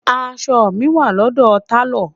aṣọ mi wà lọdọ talo